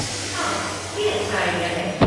हाँ, ये अच्छा आईडिया है।